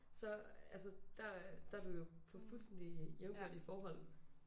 Så altså der de er du jo på fuldstændig jævnbyrdige forhold